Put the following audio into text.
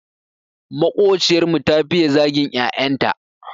Maƙociyar mu ta fiye zagin 'ya'yan ta.